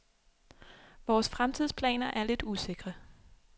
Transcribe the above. Vores fremtidsplaner er lidt usikre.